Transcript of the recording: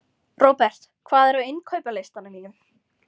Robert, hvað er á innkaupalistanum mínum?